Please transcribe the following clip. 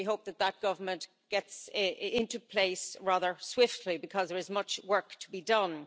We hope that that government gets into place rather swiftly, because there is much work to be done.